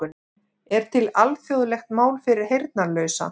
Er til alþjóðlegt mál fyrir heyrnarlausa?